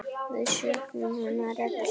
Við söknum hennar öll sárt.